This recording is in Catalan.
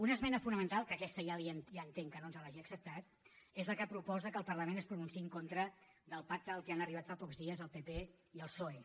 una esmena fonamental que aquesta ja entenc que no ens l’hagi acceptat és la que proposa que el parlament es pronunciï en contra del pacte a què han arribat fa pocs dies el pp i el psoe